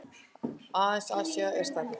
Aðeins Asía er stærri.